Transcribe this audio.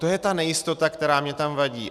To je ta nejistota, která mi tam vadí.